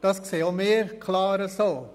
Das sehen auch wir klar so.